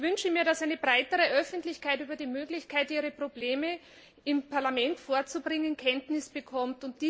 Ich wünsche mir, dass eine breitere Öffentlichkeit über die Möglichkeit, ihre Probleme im Parlament vorzubringen, Kenntnis bekommt.